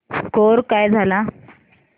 score काय झाला